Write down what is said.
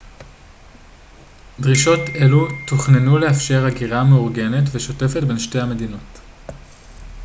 דרישות אלו תוכננו לאפשר הגירה מאורגנת ושוטפת בין שתי המדינות